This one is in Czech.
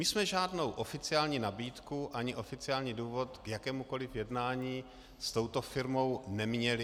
My jsme žádnou oficiální nabídku ani oficiální důvod k jakémukoliv jednání s touto firmou neměli.